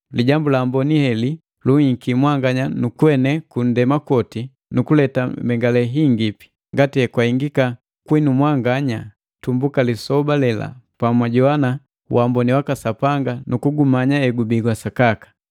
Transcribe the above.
Lijambu la Amboni heli lunhiki mwanganya nukuenee kundema kwoti nukuleta mbengalelu yingipi, ngati ekwahengika kwinu mwanganya tumbuka lisoba lela pamwajowana wamboni waka Sapanga nu kugumanya egubi wa sakaka.